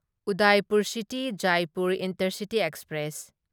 Udaipur city Jaipur intercity express